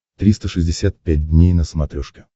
триста шестьдесят пять дней на смотрешке